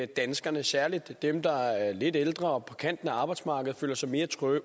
danskerne særlig dem der er lidt ældre og på kanten af arbejdsmarkedet føler sig mere